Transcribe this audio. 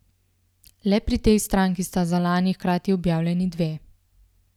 Le pri tej stranki sta za lani hkrati objavljeni dve.